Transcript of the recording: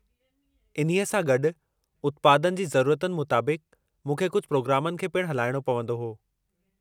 इन्ही सां गॾु, उत्पादनि जी ज़रुरतनि मुताबिक़ु मूंखे कुझु प्रोग्रामनि खे पिण हलाइणो पवंदो हो।